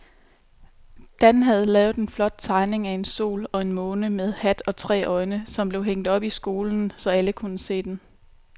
Dan havde lavet en flot tegning af en sol og en måne med hat og tre øjne, som blev hængt op i skolen, så alle kunne se den.